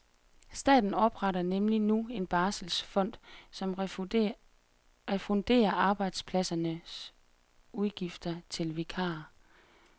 Staten opretter nemlig nu en barselsfond, som refunderer arbejdspladsernes udgifter til vikarer.